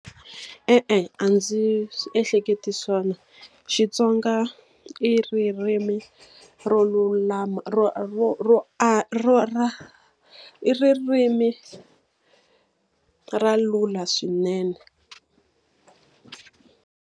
E-e a ndzi ehleketi swona. Xitsonga i ririmi ro lulama ro ro ro ro ra i ririmi ra lula swinene.